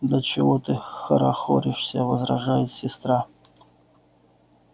да чего ты хорохоришься возражает сестра